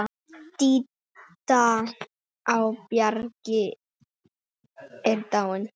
Didda á Bjargi er dáin.